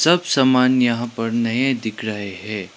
सब समान यहां पर नए दिख रहे है।